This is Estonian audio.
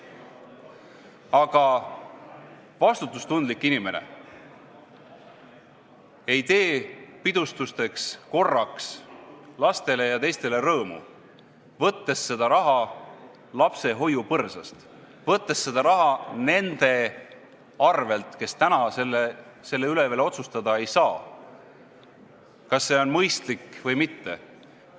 Ent vastutustundlik inimene ei tee pidustuste puhul korraks lastele ja teistele rõõmu, võttes selleks raha lapse hoiupõrsast, võttes seda raha nende arvelt, kes täna veel otsustada ei saa, kas see on mõistlik või mitte.